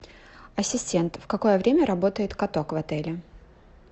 ассистент в какое время работает каток в отеле